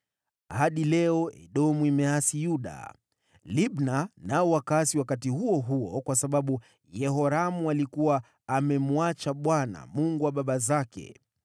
Hadi leo Edomu wameasi dhidi ya Yuda. Libna pia wakaasi wakati huo huo kwa sababu Yehoramu alikuwa amemwacha Bwana , Mungu wa baba zake.